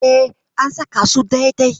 E, an saka su dai-dai?